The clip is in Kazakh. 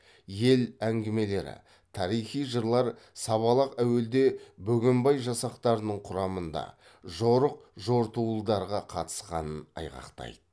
ел әңгімелері тарихи жырлар сабалақ әуелде бөгенбай жасақтарының құрамында жорық жортуылдарға қатысқанын айғақтайды